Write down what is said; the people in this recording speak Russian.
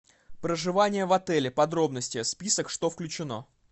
проживание в отеле подробности список что включено